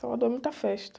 Salvador é muita festa.